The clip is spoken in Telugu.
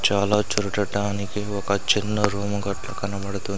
చాలా చూడటటానికి ఒక చిన్న రూమ్ గట్ల కనపడుతుం--